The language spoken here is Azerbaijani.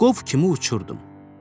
Qov kimi uçurdum.